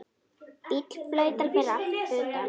Bíll flautar fyrir utan.